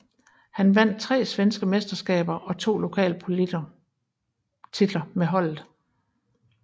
Han vandt tre svenske mesterskaber og to pokaltitler med holdet